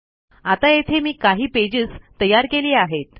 आता येथे मी काही पेजेस तयार केली आहेत